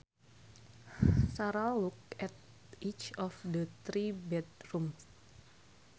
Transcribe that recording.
Sara looked at each of the three bedrooms